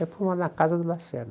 Aí foi morar na casa do Lacerda.